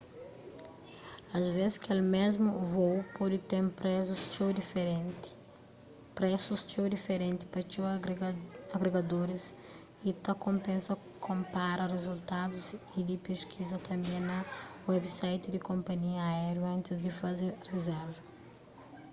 asves kel mésmu vôu pode ten presus txeu diferenti pa txeu agregadoriis y ta konpensa konpara rizultadus y di peskiza tanbê na website di konpanhia aériu antis di faze rizérva